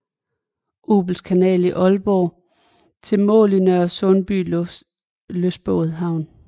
Obels kanal i Aalborg til mål i Nørresundby Lystbådehavn